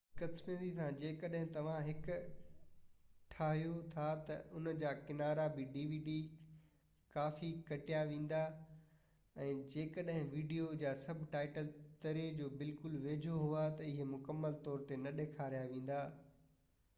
بدقسمتي سان جڏهن توهان هڪ dvd ٺاهيو ٿا ته ان جا ڪنارا بہ ڪافي ڪٽيا ويندا ۽ جيڪڏهن ويڊيو جا سب ٽائيٽل تري جو بلڪل ويجهو هئا تہ اهي مڪمل طور تي نہ ڏيکاريا ويندا